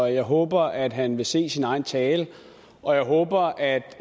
jeg håber at han vil se sin egen tale og jeg håber at